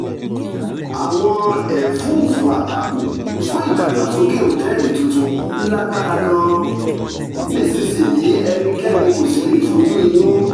àwọn ẹ̀fúùfù àtakò fún ìdàgbàsókè òtẹ́ẹ̀lì tuntun lágbára gan-an nísinsìnyí ẹnikẹ́ni kò sì lè fojú inú